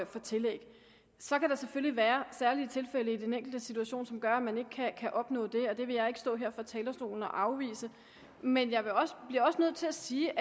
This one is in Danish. for tillæg så kan der selvfølgelig være særlige tilfælde i den enkeltes situation som gør at man ikke kan opnå det og det vil jeg ikke stå her fra talerstolen og afvise men jeg bliver også nødt til at sige